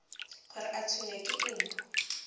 gore o tshwenywa ke eng